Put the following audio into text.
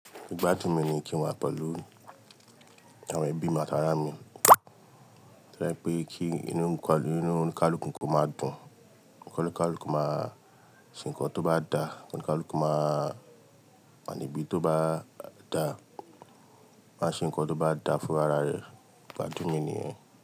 Ìgbádùn mi ni kí n wà pẹ̀lú àwọn ẹbí mìí àti ara mi. Tó yẹ pé kí inú oníkálùkù kó máa dùn, kí oníkálùkù máa ṣe nǹkan tó bá dá, kí oníkálùkù máa wà níbi tó bá dà, máa ṣe nǹkan tó bá da fún ara rẹ̀, ìgbádùn mi ni yẹ́n.